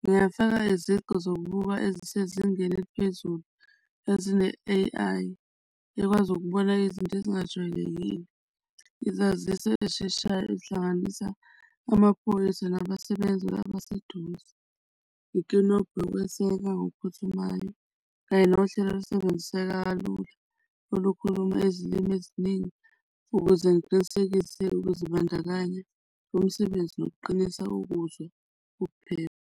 ngingafaka izigqi zokuba ezisezingeni eliphezulu ezine-A_I ekwazi ukubona izinto ezingajwayelekile. Izaziso ezisheshayo ezihlanganisa amaphoyisa nabasebenzi abaseduze, inkinobho yokweseka ngokuphuthumayo kanye nohlelo olusebenziseka kalula olukhuluma ezilimi eziningi ukuze ngiqinisekise ukuzibandakanya umsebenzi nokuqinisa ukuzwa ukuphepha.